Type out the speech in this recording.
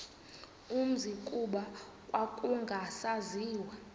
umzi kuba kwakungasaziwa